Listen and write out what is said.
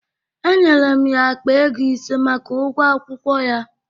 Enyere m ya akpa ego ise maka ụgwọ akwụkwọ ya